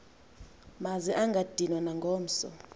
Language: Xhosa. maze angadinwa nangomso